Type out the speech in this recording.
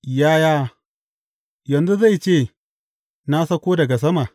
Yaya yanzu zai ce, Na sauko daga sama?’